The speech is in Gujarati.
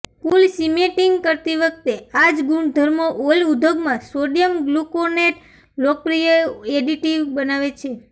કૂલ સિમેન્ટિંગ કરતી વખતે આ જ ગુણધર્મો ઓઇલ ઉદ્યોગમાં સોડિયમ ગ્લુકોનેટે લોકપ્રિય એડિટિવ બનાવે છે